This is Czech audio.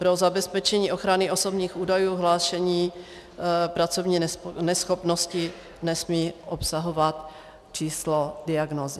Pro zabezpečení ochrany osobních údajů hlášení pracovní neschopnosti nesmí obsahovat číslo diagnózy.